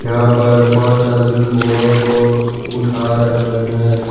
यहां पर पाँच आदमी बोड़े को उठा रहे हैं।